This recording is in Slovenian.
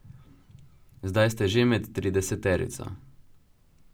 Zdaj ste že med trideseterico.